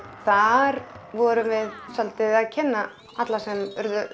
þar vorum við svolítið að kynna alla sem eru